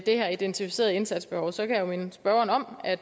her identificerede indsatsbehov kan jeg jo minde spørgeren om at